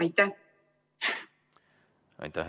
Aitäh!